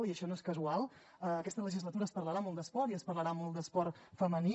i això no és casual aquesta legislatura es parlarà molt d’esport i es parlarà molt d’esport femení